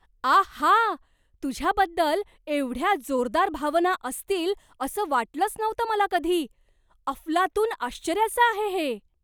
आहा! तुझ्याबद्दल एवढ्या जोरदार भावना असतील असं वाटलंच नव्हतं मला कधी. अफलातून आश्चर्याचं आहे हे.